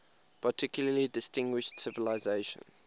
particularly distinguished civilization